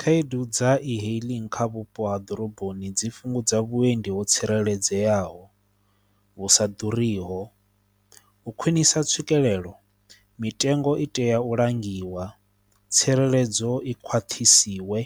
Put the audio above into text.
Khaedu dza e-hailing kha vhupo ha ḓoroboni dzi fhungudza vhuendi ho tsireledzeaho, vhu sa ḓuriho, u khwinisa tswikelelo mitengo i tea u langiwa, tsireledzo i khwaṱhise dziwe